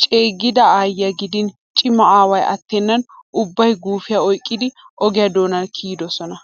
Ceeggida aayyiya gidin cima aaway attennan ubbay guufiya oyqqidi oge doonaa kiyidosona.